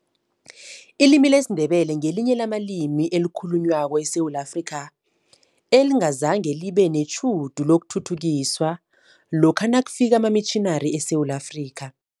Ilimi lesiNdebele ngelinye lamalimi ekhalunywa eSewula Afrika, engazange libe netjhudu lokuthuthukiswa lokha nakufika amamitjhinari eSewula Afrika.